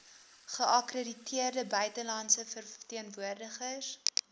geakkrediteerde buitelandse verteenwoordigers